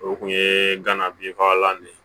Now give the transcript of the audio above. O kun ye gana binfagalan de ye